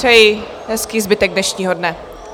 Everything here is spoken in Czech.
Přeji hezký zbytek dnešního dne.